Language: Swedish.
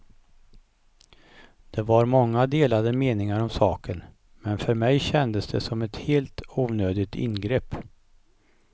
Det var många delade meningar om saken, men för mig kändes det som ett helt onödigt ingrepp.